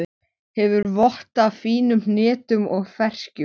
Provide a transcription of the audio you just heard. Hefur vott af fínum hnetum og ferskjum.